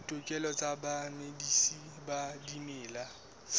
ditokelo tsa bamedisi ba dimela